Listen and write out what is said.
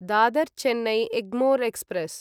Dadar Chennai Egmore express